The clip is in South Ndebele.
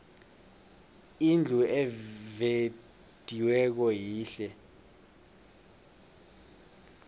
indlu evediweko yihle